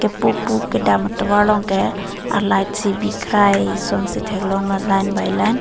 pupu kedam atovar long ke a light si bikrai son si thek long lo line by line .